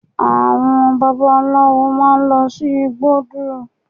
Àwọn babaláwo máa lọ sí igbódù